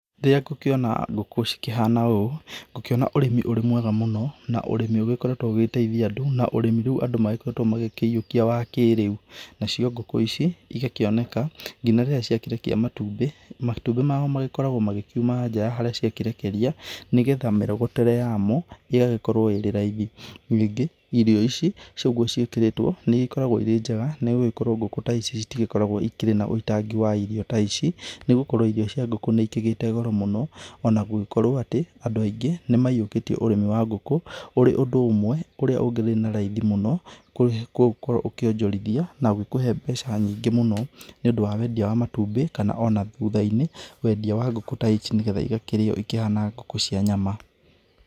Rĩrĩa ngũkĩona ngũkũ cikĩhana ũũ, ngũkĩona ũrĩmi ũrĩ mwega mũno na ũrĩmi ũgĩkoretwo ũgĩgĩteithia andũ na ũrĩmi rĩu andũ magĩkoretwo magĩkĩyiokia wa kĩrĩu. Nacio ngũkũ ici ĩgakĩoneka nginya rĩrĩa ciakĩrekia matumbĩ, matumbĩ mao magĩkoragwo magĩkiuma nja ya harĩa ciakĩrekeria nĩgetha mĩrogotere yamo ĩgagĩkorwo ĩrĩ raithĩ. Ningĩ irio ici ũguo cĩakĩrĩtwo nĩikoragwo irĩ njega nĩgũkorwo ngũkũ ta ici ĩtigĩkoragwo ĩrĩ na wũitangi wa irio ta ici, nĩgũkorwo irio cia ngũkũ nĩcigĩte gũro mũno ona gũgĩkorwo atĩ andũ aingĩ nĩmayiũkĩtie ũrĩmi wa ngũkũ ũrĩ ũndũ ũmwe ũrĩa ũngĩthĩĩ na raithĩ mũno gũgĩkorwo ũkĩonjorithia, na ũgĩkũhe mbeca nyingĩ mũno nĩ ũndũ wa wendia wa matumbĩ, kana ona thutha-inĩ wendia wa ngũkũ ta ici, nĩgetha ĩgakĩrĩyo ĩhana ngũkũ cia nyama.